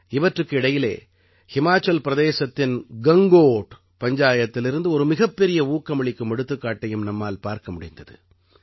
இவற்றுக்கு இடையிலே ஹிமாச்சல் பிரதேசத்தின் கங்கோட் பஞ்சாயத்திலிருந்து ஒரு மிகப்பெரிய ஊக்கமளிக்கும் எடுத்துக்காட்டையும் நம்மால் பார்க்க முடிந்தது